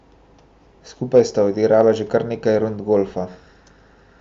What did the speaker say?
Skupaj sta odigrala že kar nekaj rund golfa.